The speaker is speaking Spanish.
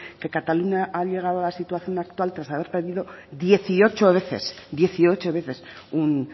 que cataluña ha llegado a la situación actual tras haber pedido dieciocho veces dieciocho veces un